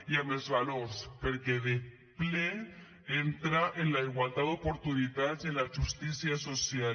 i amb els valors perquè de ple entra en la igualtat d’oportunitats i en la justícia social